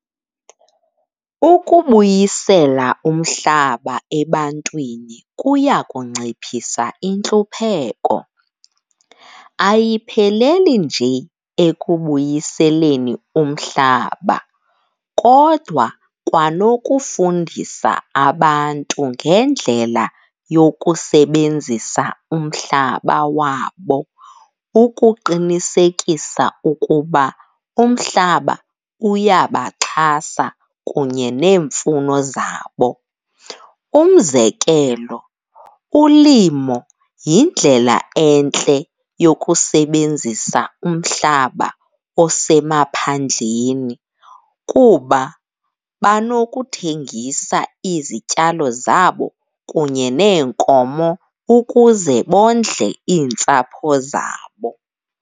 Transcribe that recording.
Ukubuyisela umhlaba ebantwini kuya kunciphisa intlupheko. Ayipheleli nje ekubuyiseleni umhlaba kodwa kwanokufundisa abantu ngendlela yokusebenzisa umhlaba wabo ukuqinisekisa ukuba umhlaba uyabaxhasa kunye neemfuno zabo. Umzekelo, ulimo yindlela entle yokusebenzisa umhlaba osemaphandleni kuba banokuthengisa izityalo zabo kunye neenkomo ukuze bondle iintsapho zabo.